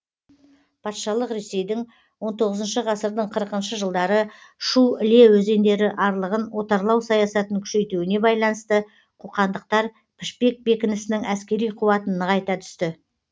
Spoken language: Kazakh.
патшалық ресейдің он тоғызыншы ғасырдың қырықыншы жылдары шу іле өзендері арлығын отарлау саясатын күшейтуіне байланысты қоқандықтар пішпек бекінісінің әскери қуатын нығайта түсті